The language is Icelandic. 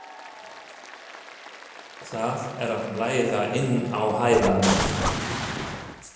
Það er að blæða inn á heilann.